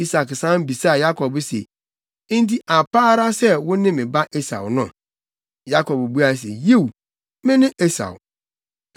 Isak san bisaa Yakob se, “Enti ampa ara sɛ wo ne me ba Esau no?” Yakob buae se, “Yiw, me ne Esau.”